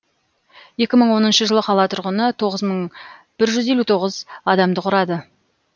екі мың оныншы жылы қала тұрғыны тоғыз мың бір жүз елу тоғыз адамды құрады